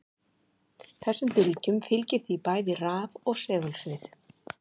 Þessum bylgjum fylgir því bæði raf- og segulsvið.